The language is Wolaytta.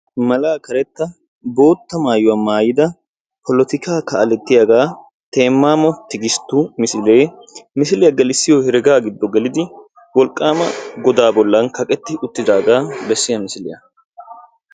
Malaa karetta botta maayuwa maayida poletikka kalletiyaga Temamo Tigistu misilee, misiliyaa gelissiyo heerega gido gelidi wolqqaama godaa bollan kaqqeti uttidaga beesiya misiliyaa.